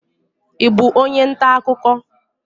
Ị bú onye ntà akụkọ?